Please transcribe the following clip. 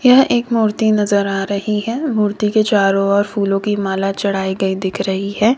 यह एक मूर्ति नजर आ रही है मूर्ति के चारों ओर फूलों की माला चढ़ाई गई दिख रही है।